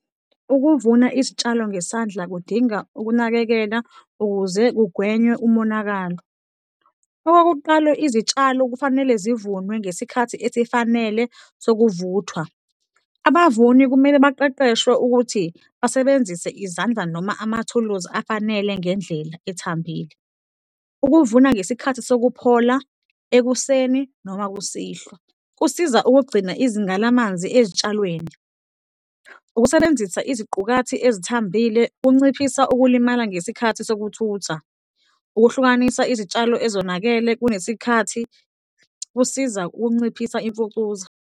Ukuvuna izitshalo ngesandla kudinga ukunakekela, ukuze kugwenywe umonakalo. Okokuqalo, izitshalo kufanele zivunwe ngesikhathi esifanele sokuvuthwa, abavuni kumele baqeqeshwe ukuthi basebenzise izandla noma amathuluzi afanele ngendlela ethambile. Ukuvuna ngesikhathi sokuphola, ekuseni noma kusihlwa kusiza ukugcina izinga lamanzi ezitshalweni. Ukusebenzisa iziqukathi ezithambile kunciphisa ukulimala ngesikhathi sokuthutha. Ukuhlukanisa izitshalo ezonakele kunesikhathi kusiza ukunciphisa imfucuza.